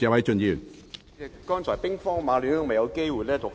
主席，剛才兵荒馬亂，我未有機會讀出內容。